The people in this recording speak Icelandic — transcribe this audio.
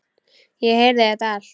Ég heyrði þetta allt.